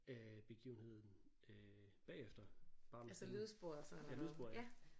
Øh begivenheden øh bagefter bare med sådan ja lydsporet ja